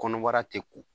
Kɔnɔbara tɛ ko